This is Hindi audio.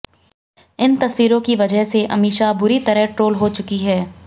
इन तस्वीरों की वजह से अमीषा बुरी तरह ट्रोल हो चुकी हैं